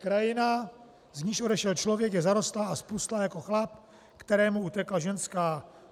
"Krajina, z níž odešel člověk, je zarostlá a zpustlá jako chlap, kterému utekla ženská."